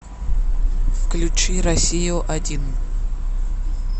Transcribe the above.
включи россию один